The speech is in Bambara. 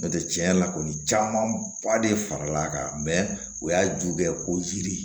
N'o tɛ tiɲɛ yɛrɛ la kɔni caman ba de faral'a kan mɛ o y'a juguya ko yiri